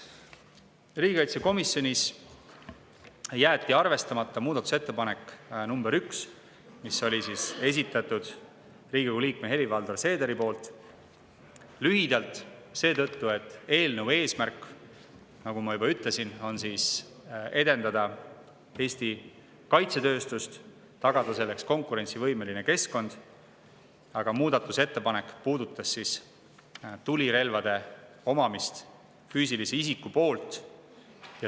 Riigikaitsekomisjonis jäeti arvestamata muudatusettepanek nr 1, mille esitas Riigikogu liige Helir-Valdor Seeder, kuna eelnõu eesmärk, nagu ma juba ütlesin, on edendada Eesti kaitsetööstust ja tagada selleks konkurentsivõimeline keskkond, kuid muudatusettepanek puudutas tulirelvade omamist füüsilise isiku poolt.